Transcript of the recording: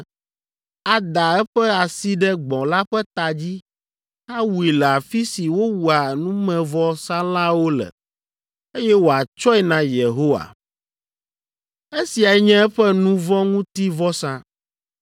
Ada eƒe asi ɖe gbɔ̃ la ƒe ta dzi, awui le afi si wowua numevɔsalãwo le, eye wòatsɔe na Yehowa. Esiae nye eƒe nu vɔ̃ ŋuti vɔsa.